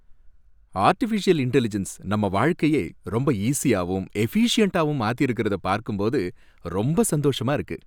Artificial intelligence நம்ம வாழ்க்கைய ரொம்ப ஈஸியாவும் எஃபிசியண்ட்டாவும் மாத்தியிருக்கிறதை பார்க்கும்போது ரொம்ப சந்தோஷமா இருக்கு.